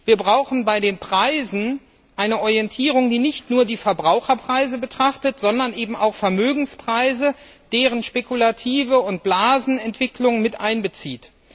Wir brauchen bei den Preisen eine Orientierung, die nicht nur die Verbraucherpreise betrachtet, sondern auch Vermögenspreise und deren spekulative Entwicklung und Blasenentwicklung mit einbezieht.